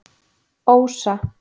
Ósa